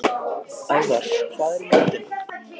Ævar, hvað er í matinn?